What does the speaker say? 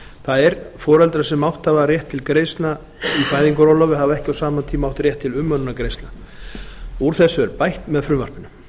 það er foreldra sem átt hafa rétt til greiðslna í fæðingarorlofi hafa ekki á sama tíma haft rétt til umönnunargreiðslna úr þessu er bætt með frumvarpinu